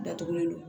Datugulen don